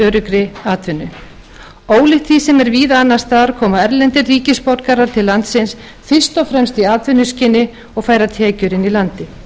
öruggri atvinnu ólíkt því sem er víða annars staðar koma erlendir ríkisborgarar til landsins fyrst og fremst í atvinnuskyni og færa tekjur inn í landið